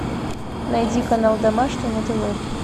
найди канал домашний на тв